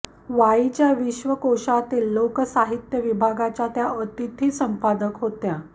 वाईच्या विश्वकोशातील लोकसाहित्य विभागाच्या त्या अतिथी संपादक होत्या